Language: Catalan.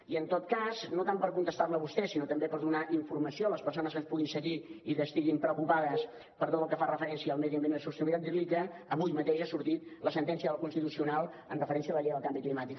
i en tot cas no tant per contestar la a vostè sinó també per donar informació a les persones que ens puguin seguir i que estiguin preocupades per tot el que fa referència al medi ambient i la sostenibilitat dir li que avui mateix ha sortit la sentència del constitucional amb referència a la llei del canvi climàtic